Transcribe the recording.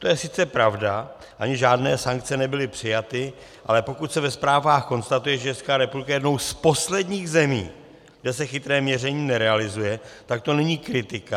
To je sice pravda, ani žádné sankce nebyly přijaty, ale pokud se ve zprávách konstatuje, že Česká republika je jednou z posledních zemí, kde se chytré měření nerealizuje, tak to není kritika.